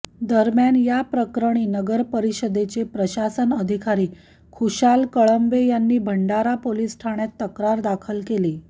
दरम्यान याप्रकरणी नगरपरिषदेचे प्रशासन अधिकारी खुशाल कळंबे यांनी भंडारा पोलिस ठाण्यात तक्रार दाखल केली